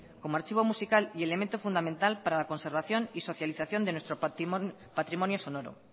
como archivo musical y elemento fundamental para la conservación y socialización de nuestro patrimonio sonoro